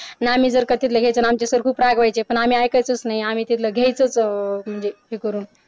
ना आम्ही ना जर तिथलं घ्यायचं ना आमचे सर खूप रागवायचे पण आम्ही ऐकायचच नाही आम्ही तिथलं घ्याच म्हणजे ट्रिप वरून